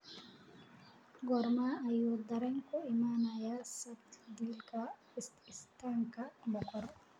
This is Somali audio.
goorma ayuu tareenku imanayaa saldhiga istaanka boqor